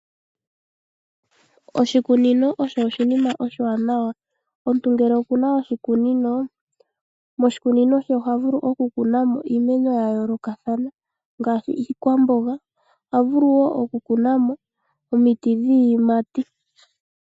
Oshikunino osho oshinima oshiwaanawa. Omuntu ngele oku na oshikunino ota vulu okukuna mo iimeno ya yoolokathana ngaashi iikwamboga nosho woo omiti dhiiyimati.